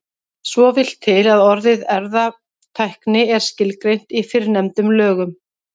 Svo vill til að orðið erfðatækni er skilgreint í fyrrnefndum lögum.